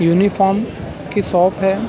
Uniform की shop है।